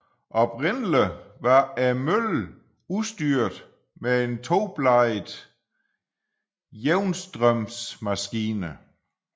Oprindelig var møllen udstyret med en tobladet jævnstrømsmaskine